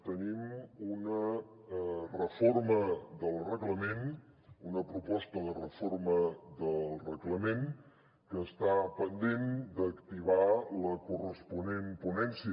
tenim una reforma del reglament una proposta de reforma del reglament que està pendent d’activar la corresponent ponència